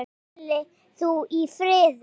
Hvíli þú í friði.